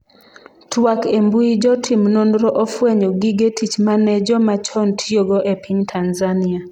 twak embui jotim nonro ofwenyo gige tich mane joma chon tiyogo e piny Tanzania